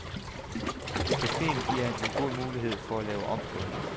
Cafeen giver en god mulighed for at lave om på det.